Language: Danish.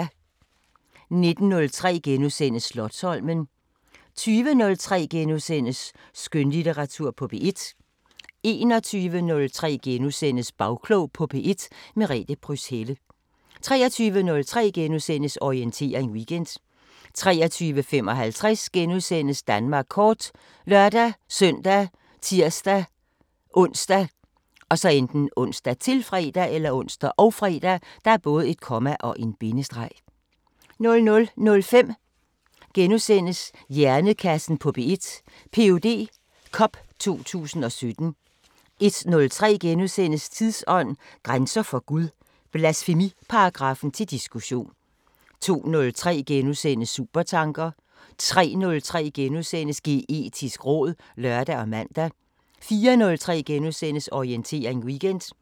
19:03: Slotsholmen * 20:03: Skønlitteratur på P1 * 21:03: Bagklog på P1: Merete Pryds Helle * 23:03: Orientering Weekend * 23:55: Danmark Kort *( lør-søn, tir-ons, -fre) 00:05: Hjernekassen på P1: Ph.D. Cup 2017 * 01:03: Tidsånd: Grænser for Gud – blasfemiparagraffen til diskussion * 02:03: Supertanker * 03:03: Geetisk råd *(lør og man) 04:03: Orientering Weekend *